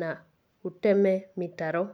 na ũteme mĩtaro.